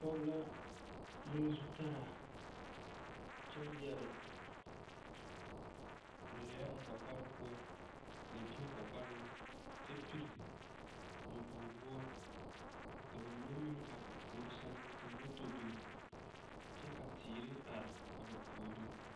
Pɔge la le zutaara kyɛ yɛre lɛɛ o kɔkɔre poɔ lɛɛbie o kɔkɔreŋ kyɛ piri nyɔboge woɔ ka ba mine meŋ are o puori sɛŋ ka mɔtɔ biŋ kyɛ ka teere are a ba puori .